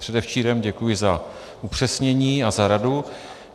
Předevčírem, děkuji za upřesnění a za radu.